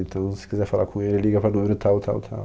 Então, se quiser falar com ele, liga para o número tal, tal, tal.